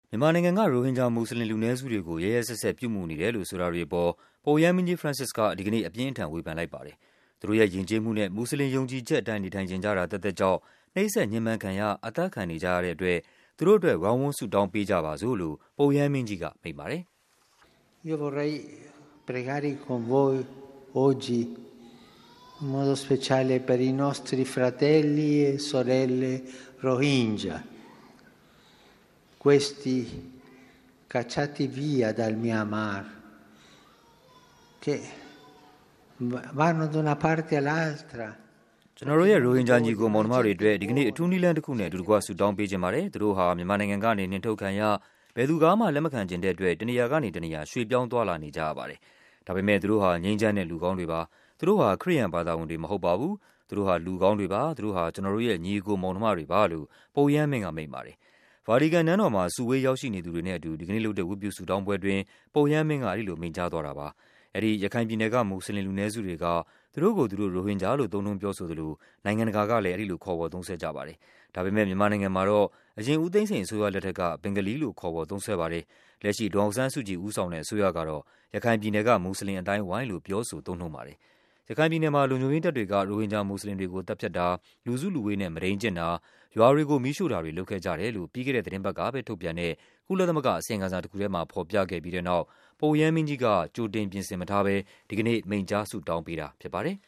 မြန်မာနိုင်ငံက ရိုဟင်ဂျာ မွတ်စလင်လူနည်းစုတွေကို ရက်ရက်စက်စက် ပြုမူနေတယ် လို့ ဆိုတာတွေအပေါ် ပုပ်ရဟန်းမင်းကြီး ဖရန့်စစ်စ်က ဒီကနေ့ အပြင်းအထန် ဝေဖန်လိုက်ပါတယ်။ သူတို့ရဲ့ ယဉ်ကျေးမှုနဲ့ မွတ်စလင် ယုံကြည်ချက်အတိုင်း နေထိုင်ချင်ကြ တာသက်သက်ကြောင့် နှိပ်စက်ညှဉ်းပန်းခံရ၊ အသတ်ခံနေကြရတဲ့အတွက် သူတို့အတွက် ဝိုင်းဝန်း ဆုတောင်းပေးကြပါစို့လို့ ပုပ်ရဟန်းမင်းကြီးကမိန့်ပါတယ်။ “ကျနော်တို့ရဲ့ ရိုဟင်ဂျာ ညီအကိုမောင်နှမတွေအတွက် ဒီကနေ့ အထူးနည်းလမ်း တခုနဲ့ အတူတကွ ဆုတောင်းပေးချင်ပါ တယ်။ သူတို့ဟာ မြန်မာနိုင်ငံ ကနေ နှင်ထုတ်ခံရ၊ ဘယ်သူကမှ လက်မခံချင်တဲ့အတွက် တနေရာကနေ တနေရာ ရွှေ့ပြောင်း သွားလာနေကြရပါတယ်။ ဒါပေမဲ့ သူတို့ဟာ ငြိမ်းချမ်းတဲ့ လူကောင်းတွေပါ၊ သူတို့ဟာ ခရစ်ယာန်ဘာသာဝင်တွေ မဟုတ်ပါဘူး၊ သူတို့ဟာ လူကောင်းတွေပါ၊ သူတို့ဟာ ကျနော်တို့ရဲ့ ညီအကိုမောင်နှမတွေပါ။” လို့ ပုပ်ရဟန်းမင်းက မိန့်ပါတယ်။ ဗာတီကန်နန်းတော်မှာ စုဝေးရောက်ရှိနေသူတွေနဲ့အတူ ဒီကနေ့လုပ်တဲ့ ဝတ်ပြုဆုတောင်းပွဲအတွင်း ပုပ်ရဟန်းမင်းက အဲဒီလို မိန့်ကြားသွားတာပါ။ အဲဒီ ရခိုင်ပြည်နယ်က မွတ်စလင်လူနည်းစုတွေက သူတို့ကိုယ်သူတို့ ရိုဟင်ဂျာလို့ သုံးနှုန်းပြောဆိုသလို နိုင်ငံ တကာကလဲ အဲဒီလိုခေါ်ဝေါ်သုံးစွဲကြပါတယ်။ ဒါပေမဲ့ မြန်မာနိုင်ငံမှာ အရင် ဦးသိန်းစိန်အစိုးရလက်ထက်က ဘင်္ဂါလီလို့ ခေါ်ဝေါ် သုံးစွဲပါတယ်။ လက်ရှိ ဒေါ်အောင်ဆန်းစုကြည်ဦးဆောင်တဲ့ အစိုးရကတော့ ရခိုင်ပြည်နယ်က မွတ်စလင်အသိုင်းအဝိုင်းလို့ ပြောဆို သုံးနှုန်းပါတယ်။ ရခိုင်ပြည်နယ်မှာ လုံခြုံရေးတပ်တွေက ရိုဟင်ဂျာမွတ်စလင်တွေကို သတ်ဖြတ်တာ၊ လူစုလူဝေးနဲ့ မုဒိန်းကျင့်တာ၊ ရွာတွေကို မီးရှို့ တာတွေကို လုပ်ခဲ့ကြတယ်လို့ ပြီးခဲ့တဲ့သီတင်းပတ်ကပဲ ထုတ်ပြန်တဲ့ ကုလသမဂ္ဂက အစီရင်ခံစာ တခုထဲမှာ ဖော်ပြခဲ့ပြီးတဲ့နောက် ပုပ်ရဟန်းမင်းကြီးက ကြိုတင်ပြင်ဆင်မထားဘဲ ဒီကနေ့ မိန့်ကြား ဆုတောင်းပေးတာဖြစ်ပါတယ်